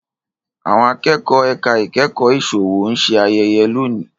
Àwọn Akẹ́kọ̀ọ́ ẹ̀ka ìkẹ́kọ̀ọ́ ìsòwò ń ṣe ayẹyẹ lónìí